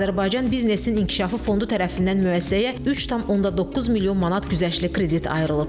Azərbaycan Biznesin İnkişafı Fondu tərəfindən müəssisəyə 3,9 milyon manat güzəştli kredit ayrılıb.